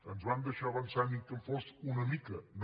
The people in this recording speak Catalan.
ens van deixar avançar ni que en fos una mica no